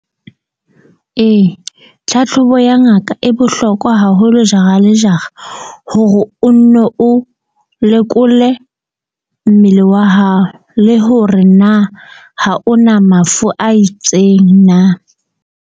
Ee, tlhatlhobo ya ngaka e bohlokwa haholo jara le jara hore o nne o lekole mmele wa hao, le hore na ha o na mafu a itseng na.